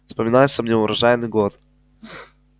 вспоминается мне урожайный год